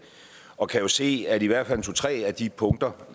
og jeg kan jo se at i hvert fald to tre af de punkter